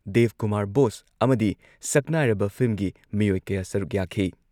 Director Dev Kumar Bose ꯑꯃꯗꯤ ꯁꯛꯅꯥꯏꯔꯕ ꯐꯤꯜꯝꯒꯤ ꯃꯤꯑꯣꯏ ꯀꯌꯥ ꯁꯔꯨꯛ ꯌꯥꯈꯤ ꯫